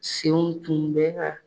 Senw tun bɛ ka